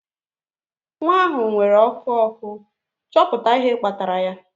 Nwa ahụ nwere ọkụ ọkụ, chọpụta ihe kpatara ya